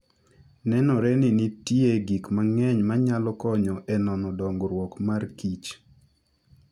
Nenore ni nitie gik mang'eny manyalo konyo e nono dongruok mar kich.